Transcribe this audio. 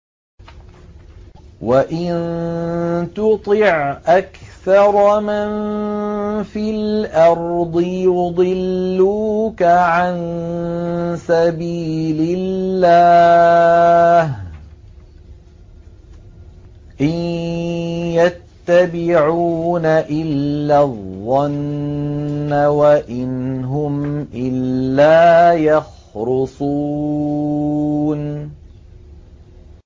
وَإِن تُطِعْ أَكْثَرَ مَن فِي الْأَرْضِ يُضِلُّوكَ عَن سَبِيلِ اللَّهِ ۚ إِن يَتَّبِعُونَ إِلَّا الظَّنَّ وَإِنْ هُمْ إِلَّا يَخْرُصُونَ